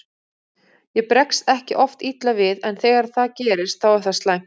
Ég bregst ekki oft illa við en þegar það gerist þá er það slæmt.